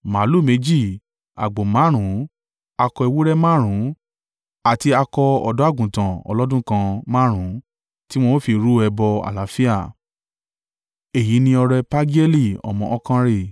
màlúù méjì, àgbò márùn-ún, akọ ewúrẹ́ márùn-ún àti akọ ọ̀dọ́-àgùntàn ọlọ́dún kan márùn-ún, tí wọn ó fi rú ẹbọ àlàáfíà. Èyí ni ọrẹ Pagieli ọmọ Okanri.